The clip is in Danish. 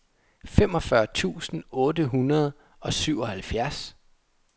femogfyrre tusind otte hundrede og syvoghalvfjerds